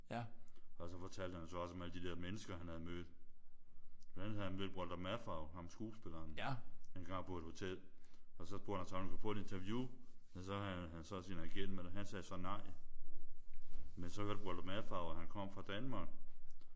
Og så fortalte han så også om alle de der mennesker han havde mødt. Blandt andet havde han mødt Walter Matthau ham skuespilleren engang på et hotel. Og så spurgte han så om han kunne få et interview. Men så havde han så sin agent med der han så sagde nej. Men så hørte Walter Matthau at han kom fra Danmark